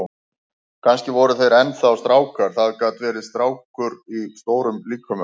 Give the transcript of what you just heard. Kannski voru þeir enn þá strákar, það gat verið, strákar í stórum líkömum.